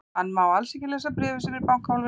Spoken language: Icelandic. Hann má alls ekki lesa bréfið sem er í bankahólfinu.